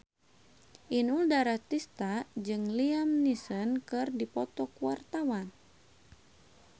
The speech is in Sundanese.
Inul Daratista jeung Liam Neeson keur dipoto ku wartawan